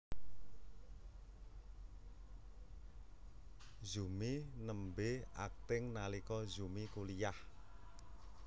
Zumi nembé akting nalika Zumi kuliyah